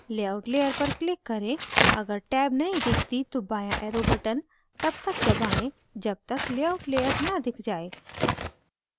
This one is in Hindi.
layout layer पर click करें अगर टैब नही दिखती तो बाँया arrow button तब तक दबाएं जब तक layout layer न दिख जाये